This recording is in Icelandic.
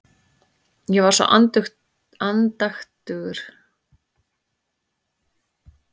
Ég var svo andaktugur.